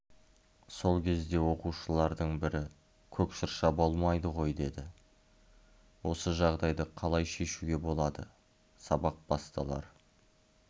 сол кезде оқушылардың бірі көк шырша болмайды ғой деді осы жағдайды қалай шешуге болады сабақ басталар